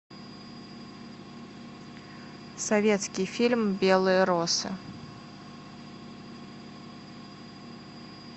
советский фильм белые росы